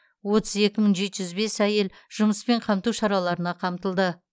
отыз екі мың жеті жүз бес әйел жұмыспен қамту шараларына тартылды